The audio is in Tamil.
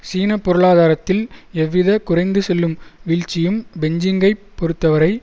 சீன பொருளாதாரத்தில் எவ்வித குறைந்து செல்லும் வீழ்ச்சியும் பெஞ்ஜிங்கைப் பொறுத்தவரை